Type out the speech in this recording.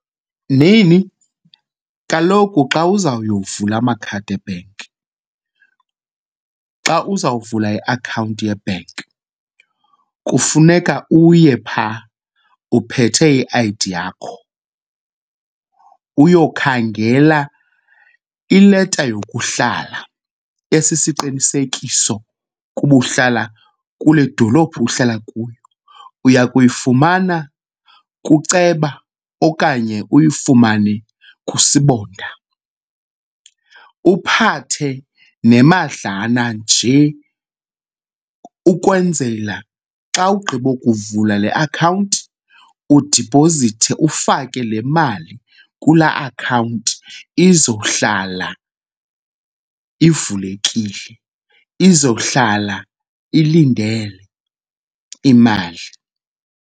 Nhinhi, kaloku xa uzawuyovula amakhadi ebhenki, xa uzawuvula iakhawunti yebhenki, kufuneka uye phaa uphethe i-I_D yakho. Uyokhangela ileta yokuhlala esisiqinisekiso ukuba uhlala kule dolophu uhlala kuyo, uya kuyifumana kuceba okanye uyifumane kuSibonda. Uphathe nemadlana nje ukwenzela xa ugqiba ukuvula le akhawunti udiphozithe ufake le mali kulaa akhawunti izohlala ivulekile, izohlala ilindele imali.